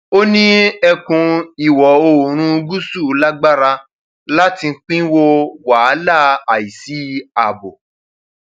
ó ní ẹkùn ìwọoòrùn gúúsù lágbára láti pínwó wàhálà àìsí ààbò